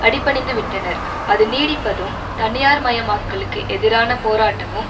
அடிபணிந்துவிட்டனர் அது நீடிப்பதும் தனியார் மயமாக்கலுக்கு எதிரான போராட்டமும்